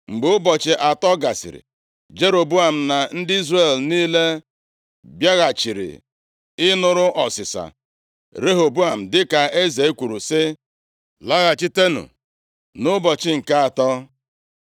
Mgbe ụbọchị atọ gasịrị, Jeroboam na ndị Izrel + 12:12 Ndị Izrel a na-ekwu banyere ha nʼebe a, bụ ndị Izrel nke alaeze ugwu ugwu. niile bịaghachiri ịnụrụ ọsịsa Rehoboam, dịka eze kwuru, sị, “Laghachitenụ nʼụbọchị nke atọ.”